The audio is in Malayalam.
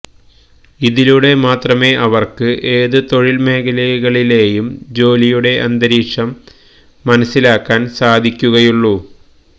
ഇതിലൂടെ മാത്രമേ അവര്ക്ക് ഏത് തൊഴില് മേഖലകളിലേയും ജോലിയുടെ അന്തരീക്ഷം മനസിലാക്കാന് സാധിക്കുകയുള്ളൂ